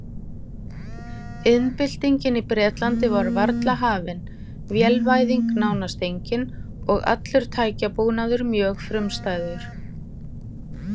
Iðnbyltingin í Bretlandi var varla hafin, vélvæðing nánast engin og allur tækjabúnaður mjög frumstæður.